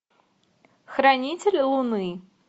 хранитель луны